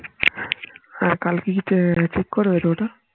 হ্যাঁ কালকে কি ঠিক করবে ওটা